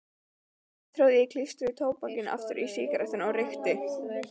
Síðan tróð ég klístruðu tóbakinu aftur í sígarettuna og reykti.